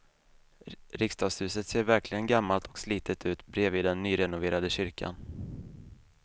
Riksdagshuset ser verkligen gammalt och slitet ut bredvid den nyrenoverade kyrkan.